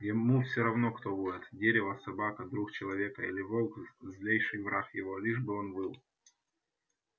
ему все равно кто воет дерево собака друг человека или волк злейший враг его лишь бы он выл